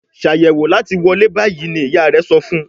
Ṣàyẹ̀wò láti wọlé bayí! ní ìyá rẹ sọfún.